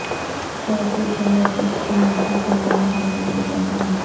سعودی شہر جس کی مٹی سے نمک حاصل کیا جاتا ہے